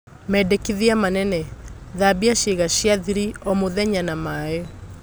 Mendekithia manene: Thambia ciĩga cia-thiri o-mũthenya na maĩ.